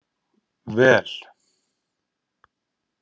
Vel